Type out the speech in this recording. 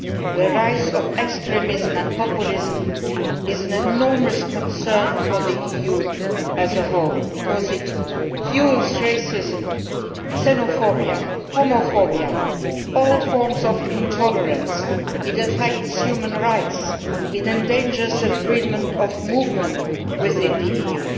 The rise of extremism and populism is an enormous concern for the EU as a whole, because it fuels racism, xenophobia, homophobia and all forms of intolerance. It affects human rights, it endangers the freedom of movement within the EU.